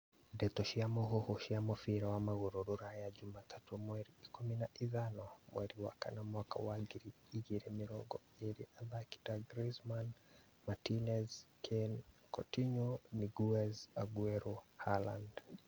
Ndeto cia mũhuhu cia mũbira wa magũrũ Rũraya juma tatũ mweri ikũmi na ithano mweri wa kana mwaka wa ngiri igĩrĩ mĩrongo ĩrĩ athaki ta Greizmann, Martinez, Kane, Coutinho, Niguez, Aguero, Halaad